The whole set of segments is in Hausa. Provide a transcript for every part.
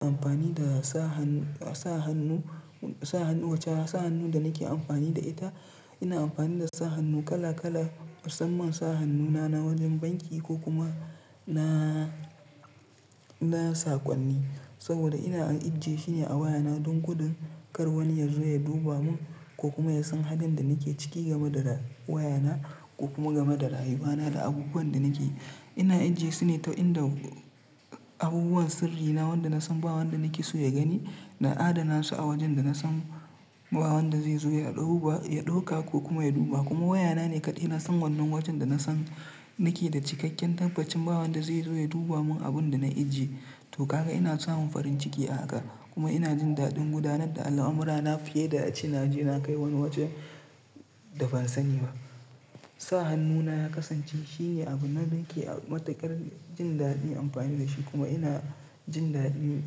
Amfani da sa hannu, sa hannu wacce sa hannun da nake amfani da ita, ina amfani da sa hannu kala kala, musamman sa hannuna na wajen banki ko kuma na, na saƙonni. Saboda ina ajjiye shine a wayana don kudun kar wani yazo ya duba mun ko kuma ya san halin da nake ciki game da wayana ko kuma game da rayuwana da abubuwan da nake yi. Ina ajjiye sune ta inda abubuwan sirrina wanda nasan ba wanda nake so ya gani, na adana su a wajen da nasan ba wanda zai zo ya ɗauka ko kuma ya duba. Kuma wayana ne kaɗai nasan wannan wajen da nasan nake da cikakken tabbacin ba wanda zai zo ya duba mun abun da na ajiye. To kaga ina samun farin ciki a haka kuma ina jin daɗin gudanar da al'amurana fiye da a ce na je na kai wani waje da ban sani ba. Sa hannuna ya kasance shine abin da nake a matakar jin daɗin amfani da shi kuma ina jin daɗi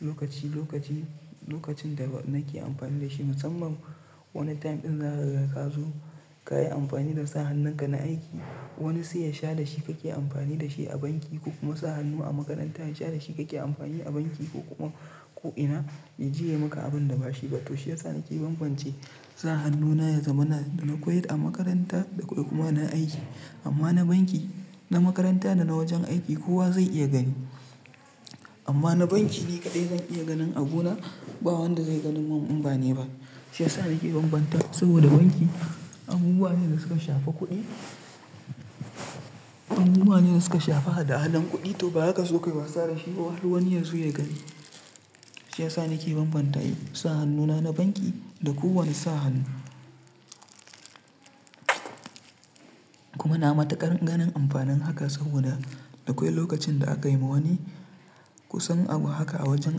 lokaci, lokaci, lokacin da nake amfani da shi musamman wani time ɗin za ka riga ka zo ka yi amfani da sa hannun ka na aiki. Wani sai ya sha da shi kake amfani da shi a banki ko kuma sa hannu a makaranta ya sha da shi kake amfani a banki ko kuma ko'ina ya je ya maka abun da ba shi ba. To shiyasa nake banbance sa hannuna na zamana da nakwai a makaranta da nakwai kuma na aiki. Amma na banki, na makaranta da na wajen aiki kowa zai iya gani. Amma na banki ni kaɗai zan iya ganin abu na ba wanda zai gani mun umbani ba. Shiyasa nake banbanta saboda banki abubuwa ne da suka shafa kuɗi, abubuwa ne da suka shafa hada-hadan kuɗi to ba haka sokai ba sa da shi har wani yazo ya gani. Shiyasa nake banbanta yi sa hannuna na banki da kowane sa hannu. Kuma na matakar ganin amfanin haka saboda da akwai lokacin da aka yi ma wani kusan abu haka a wajen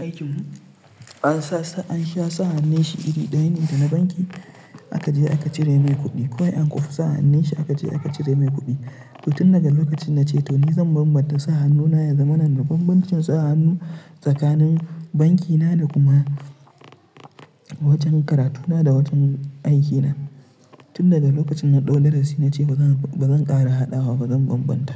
aikin mu, an sa, an sha sa hannun shi iri ɗaya ne da na banki aka je aka cire mai kuɗi. Kowai an ƙufe sa hannun shi aka je aka cire mai kuɗi. To tun daga lokacin na ce to ni zan banbanta sa hannuna na zamana da banbancin sa hannu tsakanin bankina da kuma wajen karatuna da wajen aikina. Tun daga lokacin na ɗau darasi na ce ba zan, ba zan ƙara hadawa ba zan banbanta.